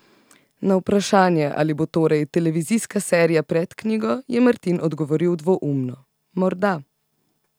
Na vprašanje, ali bo torej televizijska serija pred knjigo, je Martin odgovoril dvoumno: 'Morda.